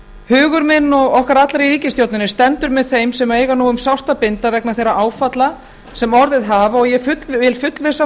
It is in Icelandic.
hugur minn og okkar allra í ríkisstjórninni stendur með þeim sem eiga nú um sárt að binda vegna þeirra áfalla sem orðið hafa og ég vil fullvissa